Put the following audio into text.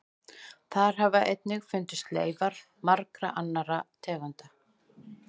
Þar hafa einnig fundist leifar margra annarra tegunda.